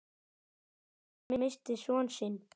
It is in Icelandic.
Jóhann missti son sinn.